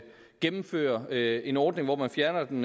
gennemføre en ordning hvor man fjerner den